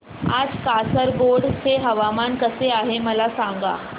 आज कासारगोड चे हवामान कसे आहे मला सांगा